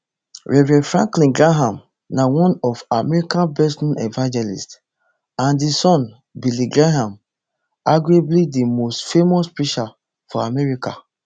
reverend franklin graham na one of america bestknown evangelists and di son of billy graham arguably di most famous preacher for america